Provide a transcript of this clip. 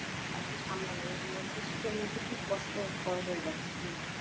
আর কি সামলানো এগুলো আর কি শীতের মধ্যে খুব কষ্টকর হয়ে যাচ্ছে।